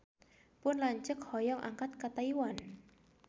Pun lanceuk hoyong angkat ka Taiwan